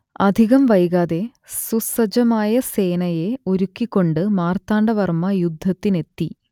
അധികം വൈകാതെ സുസജ്ജമായ സേനയെ ഒരുക്കിക്കൊണ്ട് മാർത്താണ്ട വർമ്മ യുദ്ധത്തിനെത്തി